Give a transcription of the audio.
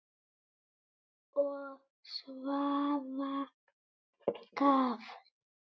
Og Svafa gaf.